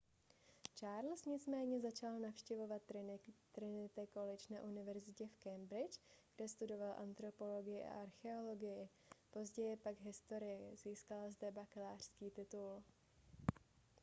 charles nicméně začal navštěvovat trinity college na univerzitě v cambridge kde studoval antropologii a archeologii později pak historii získal zde bakalářský titul